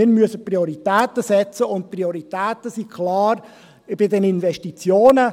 Wir müssen Prioritäten setzen, und die Prioritäten sind klar bei den Investitionen.